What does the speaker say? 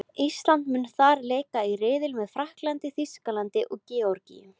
Ísland mun þar leika í riðli með Frakklandi, Þýskalandi og Georgíu.